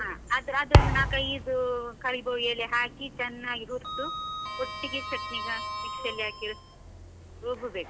ಆ ಅದ್~ ಅದನ್ನು ನಾಕ್ ಐದು ಕರಿಬೇವ್ ಎಲೆ ಹಾಕಿ ಚನ್ನಾಗಿ ಹುರ್ದು, ಒಟ್ಟಿಗೆ ಚಟ್ನಿಗೆ ಹಾಕಿ ಮಿಕ್ಸಿ ಅಲ್ಲಿ ಹಾಕಿ ರುಬ್ಬಬೇಕು.